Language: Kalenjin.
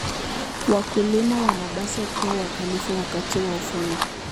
Wakulima wanapaswa kuwa waangalifu wakati wa kuvuna.